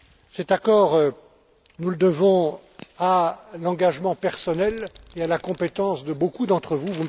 Cet accord, nous le devons à l'engagement personnel et à la compétence de beaucoup d'entre vous.